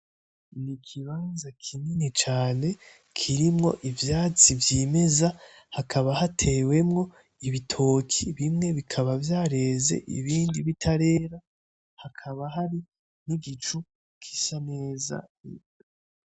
Ni ikibanza kini cane kirimwo ivyatsi vyimeza, hakaba hatewemwo ibitoki bimwe bimwe bikaba vyareze ibindi bitarera, hakaba hari n'igicu gisa neza.